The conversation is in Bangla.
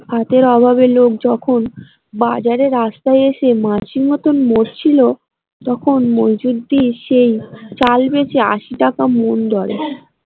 ভাতের অভাবে লোক যখন বাজারে রাস্তায় এসে মাছির মত মরছিল তখন মইজুদ্দিন সেই চাল বেচে টাকা মণ দরে।